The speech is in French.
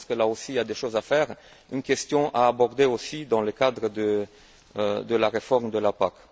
Donc je pense que, là aussi, il y a des choses à faire, une question à aborder aussi, dans le cadre de la réforme de la PAC.